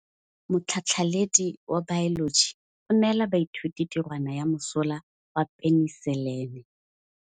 Motlhatlhaledi wa baeloji o neela baithuti tirwana ya mosola wa peniselene.